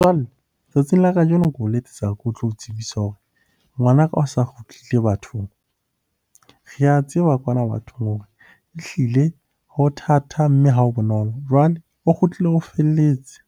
Jwale tsatsing la kajeno ke o letsetsa ko tlo tsebisa hore ngwanaka o sa kgutlile bathong. Re a tseba kwana bathong hore ehlile ho thata, mme ha ho bonolo. Jwale o kgutlile ho felletse,